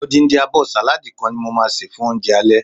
odindi abo saladi kan ni mo ma se fun ounje ale